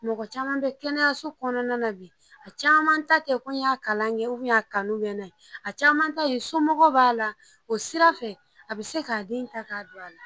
Mɔgɔ caman bɛ kɛnɛyaso kɔnɔna na bi, a caman ta tɛ ko n y'a kalan kɛ, u a Kanu bɛ ne la, a caman ta ye somɔgɔw b'a la, o sira fɛ a bɛ se k'a den ta k'a don a la.